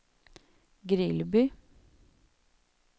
Grillby